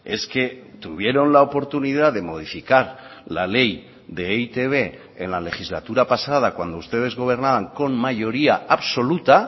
es que tuvieron la oportunidad de modificar la ley de e i te be en la legislatura pasada cuando ustedes gobernaban con mayoría absoluta